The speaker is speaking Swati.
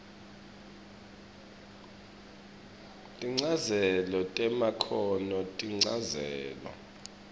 tinchazelo temakhono tinchazelo